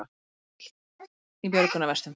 Þau voru öll í björgunarvestum